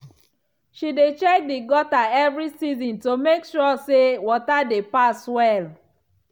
she dey check the gutter every season to make sure say water dey pass well.